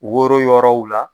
Woro yɔrɔw la.